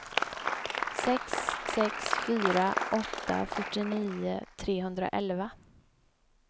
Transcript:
sex sex fyra åtta fyrtionio trehundraelva